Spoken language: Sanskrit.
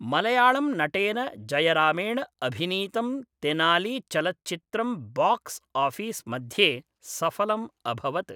मलयाळम्नटेन जयरामेण अभिनीतं तेनालीचलच्चित्रं बाक्स् आफिस्मध्ये सफलम् अभवत्।